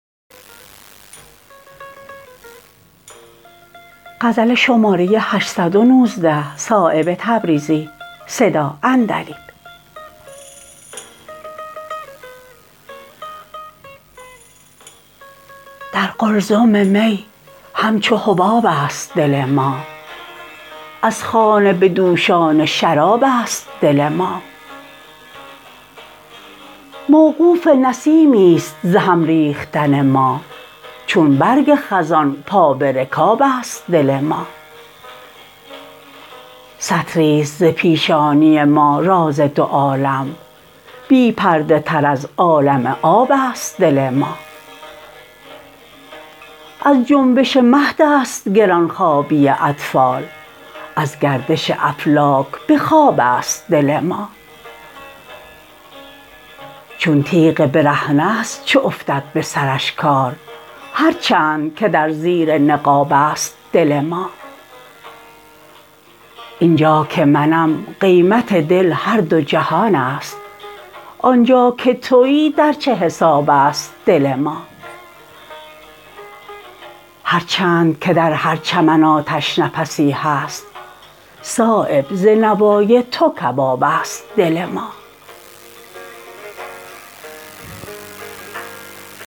در قلزم می همچو حباب است دل ما از خانه به دوشان شراب است دل ما موقوف نسیمی است ز هم ریختن ما چون برگ خزان پا به رکاب است دل ما سطری است ز پیشانی ما راز دو عالم بی پرده تر از عالم آب است دل ما از جنبش مهدست گرانخوابی اطفال از گردش افلاک به خواب است دل ما چون تیغ برهنه است چو افتد به سرش کار هر چند که در زیر نقاب است دل ما اینجا که منم قیمت دل هر دو جهان است آنجا که تویی در چه حساب است دل ما هر چند که در هر چمن آتش نفسی هست صایب ز نوای تو کباب است دل ما